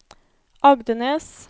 Agdenes